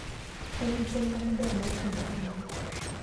En gi chenro maber mar timo kamano.